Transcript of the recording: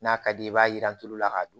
N'a ka di i ye i b'a jiran tulu la k'a dun